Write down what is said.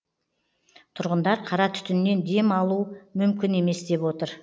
тұрғындар қара түтіннен дем алу мүмкін емес деп отыр